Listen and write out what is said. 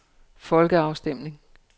folkeafstemning